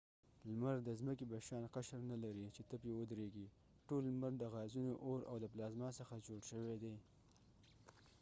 لمر د څمکې په شان قشر نه لري چې ته پری ودرېږی ټول لمر د غازونو اور او د پلازما څخه جوړ شوي دي